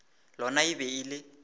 lona e be e le